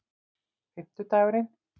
fimmtudagurinn